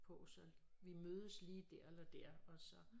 På så vi mødes lige dér eller dér og så